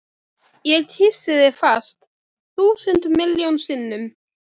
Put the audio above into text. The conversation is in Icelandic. Ég kyssi þig fast, þúsund miljón sinnum.